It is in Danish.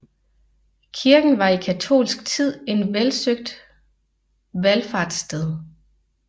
Kirken var i katolsk tid en velsøgt valfartssted